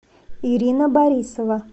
ирина борисова